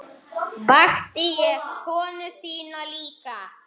Og ég gerði það aftur.